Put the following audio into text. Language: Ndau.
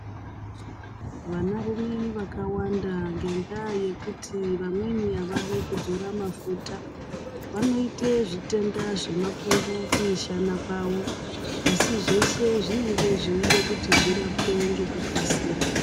Vanarume vakawanda ngendaa yekuti vamweni avadi ekudzora mafuta, vanoite zvitenda zvemapundu kumishana kwavo, asi zveshe zvinenge zveide kuti zvirapwe ngekukasira.